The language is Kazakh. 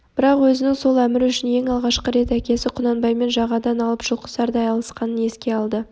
бірақ өзінің сол әмір үшін ең алғашқы рет әкесі құнанбаймен жағадан алып жұлқысардай алысқанын еске алды